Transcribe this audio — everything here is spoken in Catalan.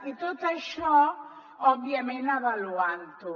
i tot això òbviament avaluant ho